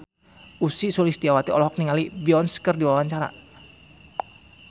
Ussy Sulistyawati olohok ningali Beyonce keur diwawancara